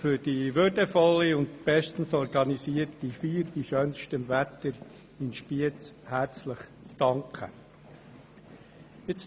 für die würdevolle und bestens organisierte Feier bei schönstem Wetter herzlich zu danken.